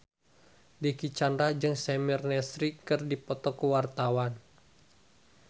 Dicky Chandra jeung Samir Nasri keur dipoto ku wartawan